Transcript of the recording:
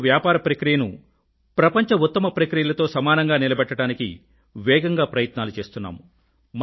భారతదేశంలో వ్యాపార ప్రాక్టీస్ ని ప్రపంచ ఉత్తమ ప్రాక్టీసెస్ తో సమానంగా నిలబెట్టడానికి వేగంగా ప్రయత్నాలు చేస్తున్నాము